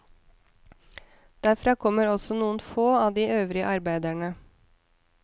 Derfra kommer også noen få av de øvrige arbeidene.